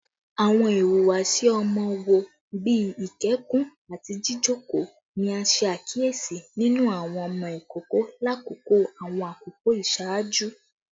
Awọn ihuwasi ọmọ wo, bii ikẹkun ati jijoko, ni a ṣe akiyesi ninu awọn ọmọ ikoko lakoko awọn akoko iṣaaju?